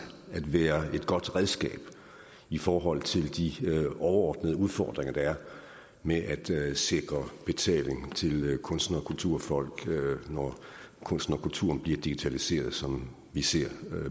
at være et godt redskab i forhold til de overordnede udfordringer der er med at sikre betaling til kunstnere og kulturfolk når kunsten og kulturen bliver digitaliseret som vi ser